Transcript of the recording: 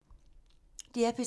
DR P3